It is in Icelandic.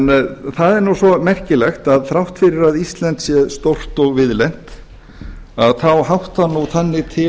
það er nú svo merkilegt að þrátt fyrir að ísland sé stórt og víðlent háttar þannig til